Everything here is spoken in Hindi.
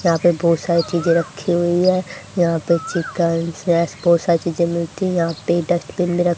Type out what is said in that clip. यहां पे बहुत सारी चीजें रखी हुई है यहां पे चिकन स्नैक्स बहुत सारी चीजें मिलती हैं यहां पे डस्टबिन भी र --